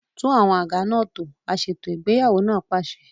Tún àwọn àga náà tò! Aṣètò ìgbéyàwó náà pàṣẹ.